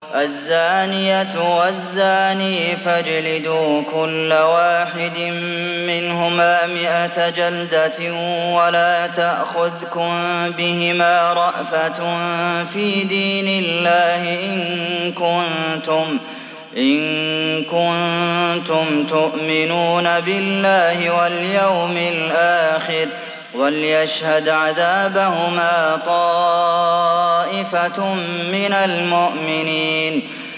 الزَّانِيَةُ وَالزَّانِي فَاجْلِدُوا كُلَّ وَاحِدٍ مِّنْهُمَا مِائَةَ جَلْدَةٍ ۖ وَلَا تَأْخُذْكُم بِهِمَا رَأْفَةٌ فِي دِينِ اللَّهِ إِن كُنتُمْ تُؤْمِنُونَ بِاللَّهِ وَالْيَوْمِ الْآخِرِ ۖ وَلْيَشْهَدْ عَذَابَهُمَا طَائِفَةٌ مِّنَ الْمُؤْمِنِينَ